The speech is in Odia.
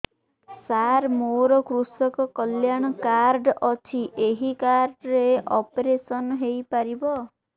ସାର ମୋର କୃଷକ କଲ୍ୟାଣ କାର୍ଡ ଅଛି ଏହି କାର୍ଡ ରେ ଅପେରସନ ହେଇପାରିବ